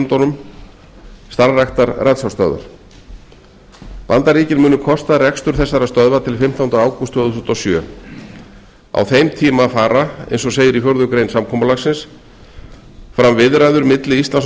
í nágrannalöndum okkar starfræktar ratsjárstöðvar bandaríkin munu kosta rekstur ratsjárstöðvanna til fimmtánda ágúst tvö þúsund og sjö á þeim tíma fara eins og segir í fjórða grein samkomulagsins fram viðræður milli íslands og